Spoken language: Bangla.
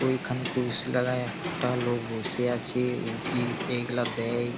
ওইখানে কোষ লাগাইয়া একটা লোক বসে আছে উকি এগলা দেয়।